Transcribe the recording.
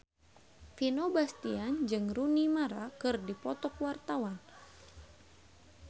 Vino Bastian jeung Rooney Mara keur dipoto ku wartawan